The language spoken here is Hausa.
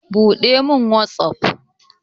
Buɗe min hotsufot